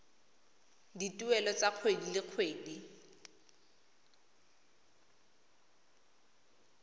dituelo tsa kgwedi le kgwedi